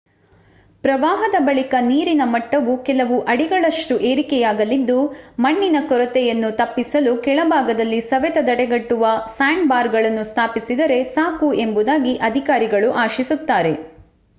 ಪ್ರವಾಹದ ಬಳಿಕ ನೀರಿನ ಮಟ್ಟವು ಕೆಲವು ಅಡಿಗಳಷ್ಟು ಏರಿಕೆಯಾಗಲಿದ್ದು ಮಣ್ಣಿನ ಕೊರೆತವನ್ನು ತಪ್ಪಿಸಲು ಕೆಳಭಾಗದಲ್ಲಿ ಸವೆತ ತಡೆಗಟ್ಟುವ ಸ್ಯಾಂಡ್‌ಬಾರ್‌ಗಳನ್ನು ಸ್ಥಾಪಿಸಿದರೆ ಸಾಕು ಎಂಬುದಾಗಿ ಅಧಿಕಾರಿಗಳು ಆಶಿಸುತ್ತಾರೆ